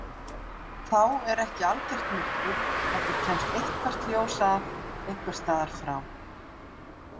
Þá er ekki algert myrkur heldur kemst eitthvert ljós að einhvers staðar frá.